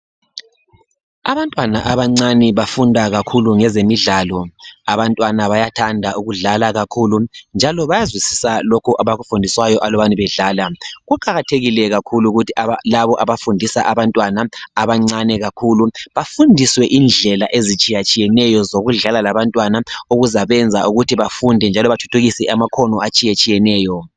Abantwana abancane bafunda kakhulu ngezemidlalo. Abantwana bayathanda ukudlala kakhule njalo bayazwisisa lokho abakufundayo nxa befunda bedlala Kuqakathekile kakhulu ukuthi labo abafundisa abantwana abancane kakhulu bafundiswe indlela ezitshiyatshiyeneyo zokudlala labantwana okuzabenza ukuthi bafunde njalo bathuthukise amakhono atshiyetshiyeneyo.